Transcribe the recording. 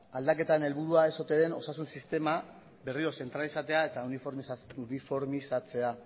aldaketaren helburuan ez ote den osasun sistema berriro zentralizatzea eta uniformizatzea